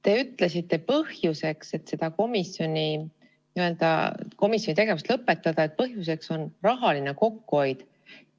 Te ütlesite, et põhjuseks, miks selle komisjoni tegevus lõpetada, on rahaline kokkuhoid.